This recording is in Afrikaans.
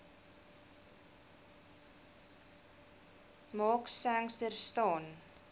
mark sangster staan